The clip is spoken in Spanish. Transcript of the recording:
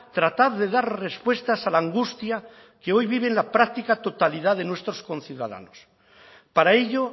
tratar de dar respuestas a la angustia que hoy vive la práctica totalidad de nuestros conciudadanos para ello